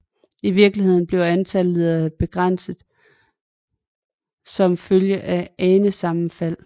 I virkeligheden bliver antallet begrænset som følge af anesammenfald